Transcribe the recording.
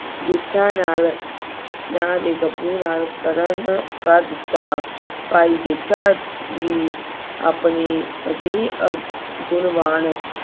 ਜੇਠਾ ਨਾਲ ਨਾਂ ਦੇ ਗੱਭਰੂ ਨਾਲ ਕਰਨ ਕਰ ਦਿੱਤਾ। ਭਾਈ ਜੇਠਾ ਵੀ ਆਪਣੀ ਅਜਿਹੀ ਅਹ ਗੁਣਵਾਨ